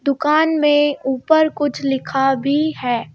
दुकान में ऊपर कुछ लिखा भी है.